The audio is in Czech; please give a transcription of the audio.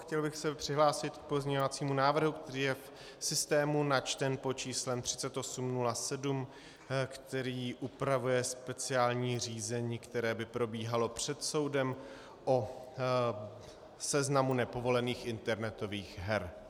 Chtěl bych se přihlásit k pozměňovacímu návrhu, který je v systému načten pod číslem 3807, který upravuje speciální řízení, které by probíhalo před soudem o seznamu nepovolených internetových her.